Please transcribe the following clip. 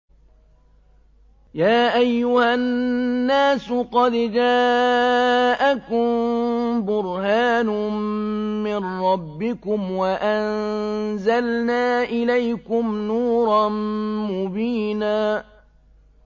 يَا أَيُّهَا النَّاسُ قَدْ جَاءَكُم بُرْهَانٌ مِّن رَّبِّكُمْ وَأَنزَلْنَا إِلَيْكُمْ نُورًا مُّبِينًا